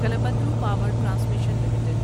Kalpataru power transmission limited